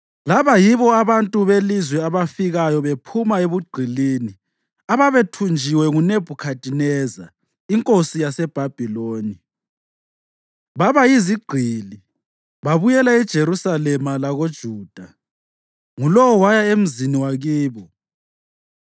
laba yibo abantu belizwe abafikayo bephuma ebugqilini ababethunjiwe nguNebhukhadineza inkosi yaseBhabhiloni. Baba yizigqili (babuyela eJerusalema lakoJuda, ngulowo waya emzini wakibo,